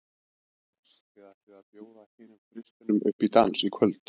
Tómas, þið ætlið að bjóða hinum þristinum upp í dans í kvöld?